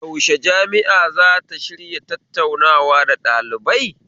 Yaushe jami'a zata shirya tattaunawa da ɗalibai?